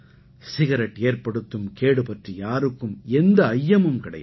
cigarette ஏற்படுத்தும் கேடு பற்றி யாருக்கும் எந்த ஐயமும் கிடையாது